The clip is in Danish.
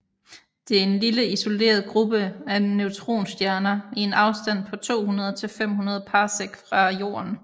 Det er en lille isoleret gruppe af neutronstjerner i en afstand på 200 til 500 parsec fra Jorden